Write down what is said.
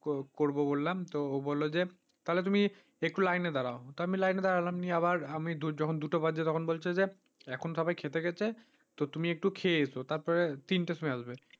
করব বললাম তো ও বলল যে তাহলে তুমি একটু লাইনে দাঁড়াও তা আমি লাইনে দাঁড়ালাম নিয়ে আবার আমি যখন দুটো বাজছে তখন বলছে যে এখন সবাই খেতে গেছে, তো তুমি একটু খেয়ে এসো, তারপরে তিনটা সময় আসবে।